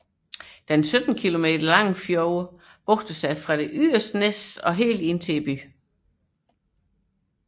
Den 17 km lange Seyðisfjörður bugter sig fra det yderste næs til byen Seyðisfjörður